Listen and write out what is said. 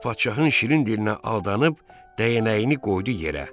Uşaq padşahın şirin dilinə aldanıb, dəynəyini qoydu yerə.